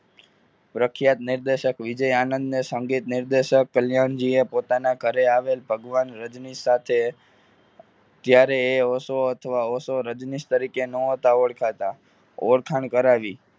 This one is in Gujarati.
પ્રખ્યાત નિર્દેશક વિજય આનંદને નિર્દેશક કલ્યાણજીએ પોતાના ઘરે આવેલ ભગવાન રજની સાથ ત્યારે એ ઓશો અથવા ઓશો રજનીશ તરીકે ન હતા ઓળખાતા ઓળખાણ કરાવી.